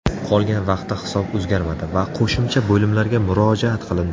Qolgan vaqtda hisob o‘zgarmadi va qo‘shimcha bo‘limlarga murojaat qilindi.